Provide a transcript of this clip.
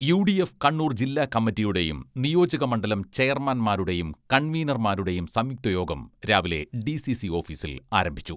UDF Kannur ജില്ലാ കമ്മറ്റിയുടെയും നിയോജക മണ്ഡലം ചെയർമാൻമാരുടെയും കൺവീനർമാരുടെയും സംയുക്ത യോഗം രാവിലെ ഡി.സി.സി.ഓഫീസിൽ ആരംഭിച്ചു.